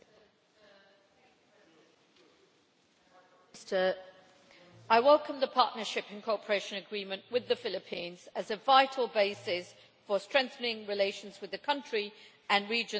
Mr President, I welcome the Partnership and Cooperation Agreement with the Philippines as a vital basis for strengthening relations with the country and region that is fast gaining its geopolitical importance.